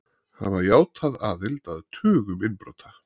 Hafa játað aðild að tugum innbrota